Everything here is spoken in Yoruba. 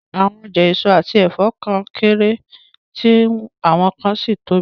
Àwọn ọjà èso àti ẹ̀fọ́ kan kéré, tí àwọn kan sì tóbi